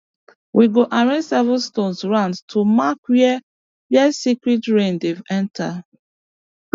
we go arrange seven stones round to mark where where sacred rain dey enter